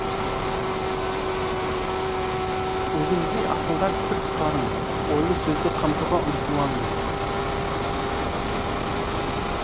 өзіңіздей асылдар пір тұтарым ойлы сөзді қамтуға ұмтыламын